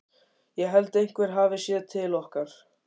Ég held einhver hafi séð til okkar.